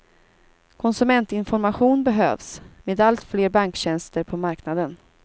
Konsumentinformation behövs, med allt fler banktjänster på marknaden.